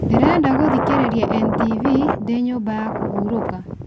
ndĩrenda gũthikĩrĩria n.t.v ndĩ nyũmba ya kũhũrũka